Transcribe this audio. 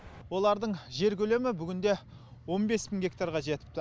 олардың жер көлемі бүгінде он бес мың гектарға жетіпті